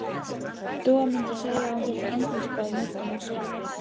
Dúa mundi segja að hún þyrfti andlitsbað, nudd og maska.